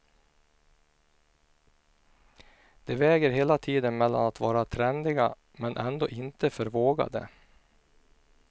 De väger hela tiden mellan att vara trendiga, men ändå inte för vågade.